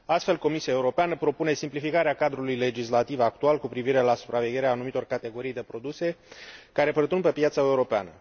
Astfel, Comisia Europeană propune simplificarea cadrului legislativ actual cu privire la supravegherea anumitor categorii de produse care pătrund pe piața europeană.